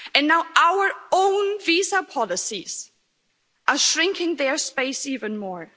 And now our own visa policies are shrinking their space even more.